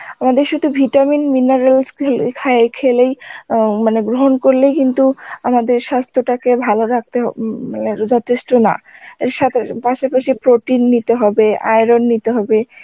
আমাদের শুধু vitamins minerals গুলো খেলে~ খা~ খেলেই অ্যাঁ মানে গ্রহণ করলেই কিন্তু আমাদের সাস্থ্য টাকে ভালো ও উম যথেষ্ট না সতের পাশাপাশি protein নিতে হবে iron নিতে হবে